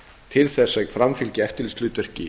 til þess að framfylgja eftirlitshlutverki